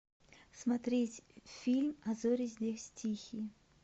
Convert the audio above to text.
смотреть фильм а зори здесь тихие